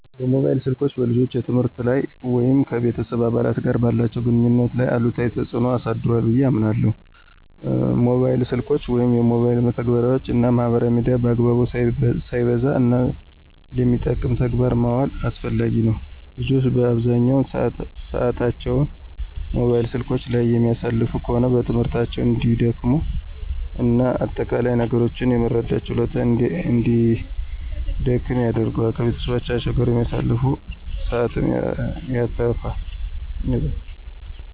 ሞባይል ስልኮች በልጆች የትምህርት ላይ ወይም ከቤተሰብ አባላት ጋር ባላቸው ግንኙነት ላይ አሉታዊ ተጽዕኖ አሳድሯ ብየ አምናለሁ። ሞባይል ስልኮችን ወይም የሞባይል መተግበሪያወችን እና ማህበራዊ ሚዲያን በአግባቡ፣ ሳይበዛ፣ እና ለሚጠቅም ተግባር ማዋል አስፈላጊ ነው። ልጆች አብዛኛውን ሰአታቸውን ሞባይል ስልኮች ላይ የሚያሳልፉ ከሆነ በትምህርታቸው እንዲደክሙ እና አጠቃላይ ነገሮችን የመረዳት ችሎታቸውን እንዲደክም ያደርገዋል። ከቤተሰቦቻቸው ጋር የሚያሳልፉትን ሰአትም ያተፋል።